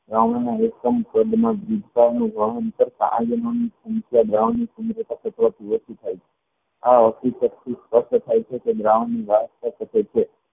દ્રાવણ માં સ્પષ્ટ થાય છેકે દ્રાવણ ની શકે છે